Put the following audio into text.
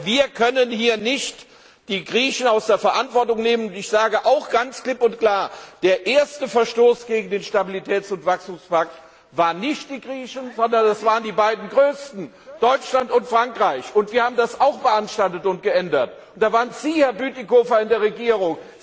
Wir können hier nicht die Griechen aus der Verantwortung nehmen, und ich sage auch ganz klipp und klar, der erste Verstoß gegen den Stabilitäts und Wachstumspakt waren nicht die Griechen, sondern das waren die beiden größten Deutschland und Frankreich. Wir haben das auch beanstandet und geändert. Da waren Sie, Herr Bütikofer in der Regierung.